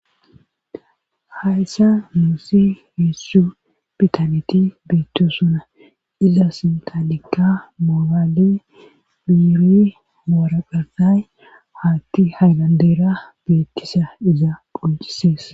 Hayssa nuussi heessu bitaneti beitto sona iza sintalikka moogaali biiri maraqasay haatti haynandeera beettisa iza phuncisees.